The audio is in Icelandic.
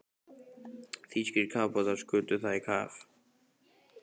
Þýskir kafbátar skutu það í kaf.